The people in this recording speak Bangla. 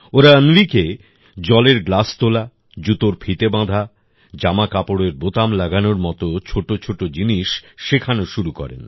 ওরা অন্বিকে জলের গ্লাস তোলা জুতোর ফিতে বাঁধা জামাকাপড়ের বোতাম লাগানোর মতো ছোট ছোট জিনিস শেখানো শুরু করেন